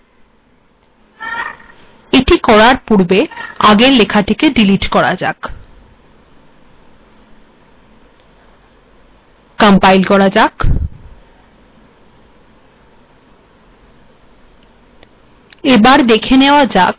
এটি করার পূর্বে আগে লেটেক ডিলিট করা যাক কম্পাইল করা যাক